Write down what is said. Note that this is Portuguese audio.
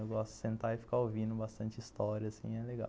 Eu gosto de sentar e ficar ouvindo bastante história, assim, é legal.